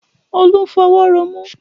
Olú ń fọwọ́ ro imú